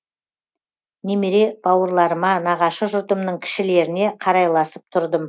немере бауырларыма нағашы жұртымның кішілеріне қарайласып тұрдым